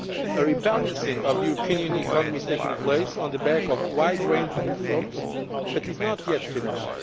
A rebalancing of the European Union economy is taking place on the back of wide ranging reforms but is not yet finished.